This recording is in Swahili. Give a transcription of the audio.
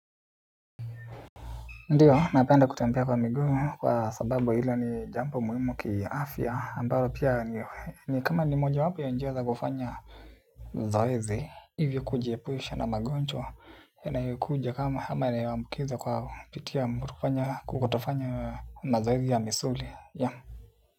Ndiyo napenda kutembia kwa miguu kwa sababu ilo ni jambo muhimu kiaafya ambalo pia ni kama ni mojawapo ya njia za kufanya zoezi hivyo kujiepusha na magonjwa yanayokuja kama ama inayambukiza kwa pitia mkutufanya kukutofanya mazoezi ya misuli ya.